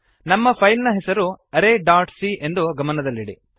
ನಮ್ಮ ಫೈಲ್ ನ ಹೆಸರು arrayಸಿಎ ಎಂದು ಗಮನದಲ್ಲಿಡಿ